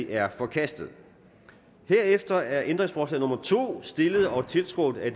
er forkastet herefter er ændringsforslag nummer to stillet og tiltrådt af